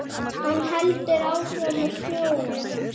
Hann heldur áfram að snjóa.